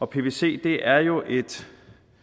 pvc er jo et